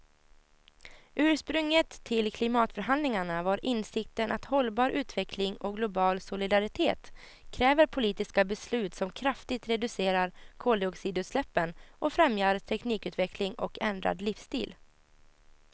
Ursprunget till klimatförhandlingarna var insikten att hållbar utveckling och global solidaritet kräver politiska beslut som kraftigt reducerar koldioxidutsläppen och främjar teknikutveckling och ändrad livsstil.